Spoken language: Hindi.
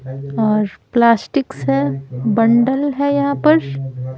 और प्लास्टिक्स है बंडल है यहाँ पर।